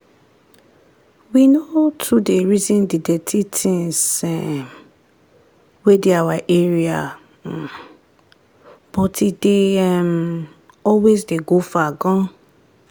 we no too dey reason the dirty things um wey dey our area um but e dey um always dey go far gan.